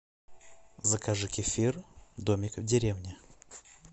закажи кефир домик в деревне